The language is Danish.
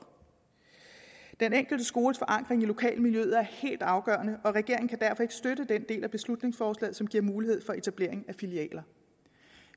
den enkelte skoles forankring i lokalmiljøet er helt afgørende og regeringen kan derfor ikke støtte den del af beslutningsforslaget som giver mulighed for etablering af filialer